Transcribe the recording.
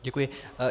Děkuji.